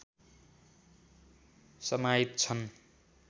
समाहित छन्